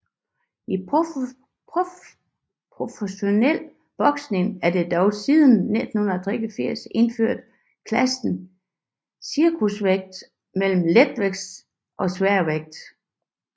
I professionel boksning er der dog siden 1983 indført klassen cruiservægt mellem letsværvægt og sværvægt